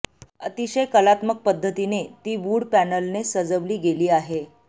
अतिशय कलात्मक पद्धतीने ती वुड पॅनलने सजविली गेली आहे